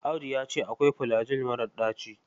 Audu ya ce akwai filajil marar ɗaci.